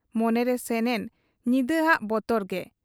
ᱢᱚᱱᱮᱨᱮ ᱥᱮᱱᱮᱱ ᱧᱤᱫᱟᱹ ᱦᱟᱜ ᱵᱚᱛᱚᱨ ᱜᱮ ᱾